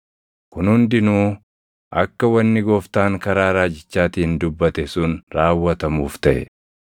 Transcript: Kun hundinuu akka wanni Gooftaan karaa raajichaatiin dubbate sun raawwatamuuf taʼe.